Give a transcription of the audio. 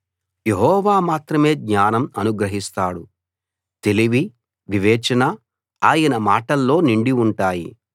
యెహోవా మాత్రమే జ్ఞానం అనుగ్రహిస్తాడు తెలివి వివేచన ఆయన మాటల్లో నిండి ఉంటాయి